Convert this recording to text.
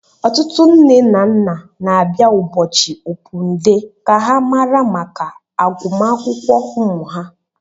Ọtụtụ nne na nna na abịa ụbọchị opun dee ka ha mara maka agụmakwụkwọ ụmụ ha.